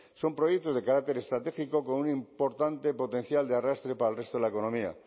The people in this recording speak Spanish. son proyectos de carácter estratégico con un importante potencial de arrastre para el resto de la economía